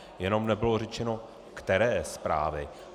Jenom nebylo řečeno, které zprávy.